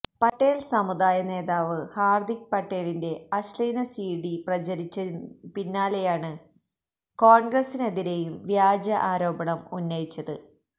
പട്ടേല് സമുദായ നേതാവ് ഹാര്ദിക് പട്ടേലിന്റെ അശ്ലീല സിഡി പ്രചരിച്ചതിനു പിന്നാലെയാണ് കോണ്ഗ്രസിനെതിരെയും വ്യാജ ആരോപണം ഉന്നയിച്ചത്